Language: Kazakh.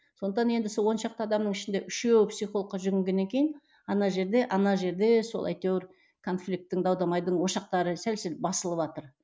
сондықтан енді сол он шақты адамның ішінде үшеуі психологқа жүгінгеннен кейін ана жерде ана жерде сол әйтеуір конфликтің дау дамайдың ошақтары сәл сәл басылыватыр